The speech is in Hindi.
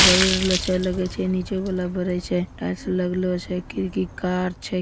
बल र ल छ लगी छै नीचे बलफ़ बरई छै टाइल्स लग्लो छ कि कार छै।